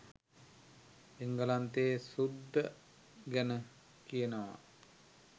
එංගලන්තේ සුද්ද ගැන කියනව